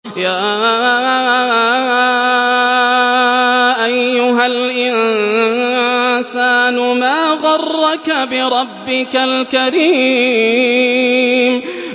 يَا أَيُّهَا الْإِنسَانُ مَا غَرَّكَ بِرَبِّكَ الْكَرِيمِ